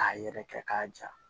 K'a yɛrɛ kɛ k'a ja